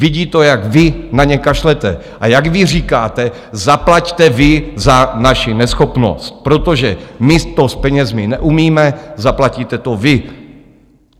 Vidí to, jak vy na ně kašlete a jak vy říkáte, zaplaťte vy za naši neschopnost, protože my to s penězi neumíme, zaplatíte to vy.